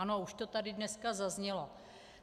Ano, už to tady dneska zaznělo.